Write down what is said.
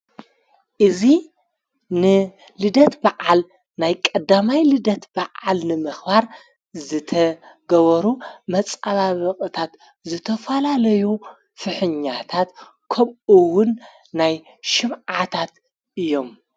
እዙ ንልደት በዓል ናይ ቐዳማይ ልደት በዓል ንመኽዋር ዘተገበሩ መፃባ በቕታት ዘተፈላለዩ ፍሕኛታት ከምኡውን ናይ ሽምዓታት እዮም።